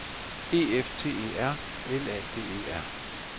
E F T E R L A D E R